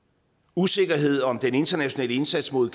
usikkerhed om den internationale indsats mod